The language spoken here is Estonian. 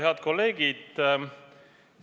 Head kolleegid!